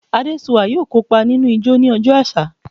Adesua yoo kopa ninu ijó ni ọjọ aṣa